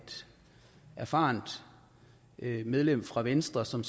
erfarent medlem fra venstre som